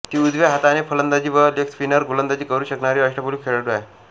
ती उजव्या हाताने फलंदाजी व लेगस्पिन गोलंदाजी करू शकणारी अष्टपैलू खेळाडू आहे